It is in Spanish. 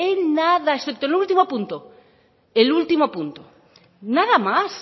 en nada excepto el último punto el último punto nada más